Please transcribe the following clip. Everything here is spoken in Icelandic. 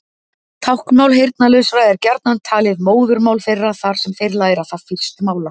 Táknmál heyrnarlausra er gjarnan talið móðurmál þeirra þar sem þeir læra það fyrst mála.